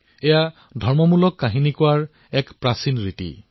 ইয়াত ধৰ্মমূলক কাহিনী কোৱাৰ পৰম্পৰা আছে